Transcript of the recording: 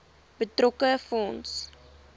betrokke fonds